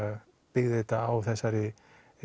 byggði þetta á þessari